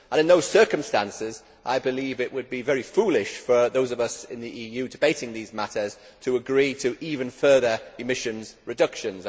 In those circumstances, I believe it would be very foolish for those of us in the EU debating these matters to agree to even further emissions reductions.